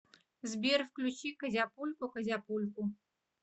сбер включи козяпульку козяпульку